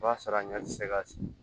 O b'a sɔrɔ a ɲɛ tɛ se ka